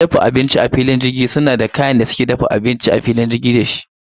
Madafa abinci a filin jirgi suna da rigar dafa abinci da suke sakawa a yayin girki.